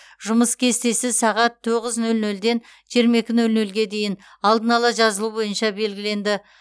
жұмыс кестесі сағат тоғыз нөл нөлден жиырма екі нөл нөлге дейін алдын ала жазылу бойынша белгіленді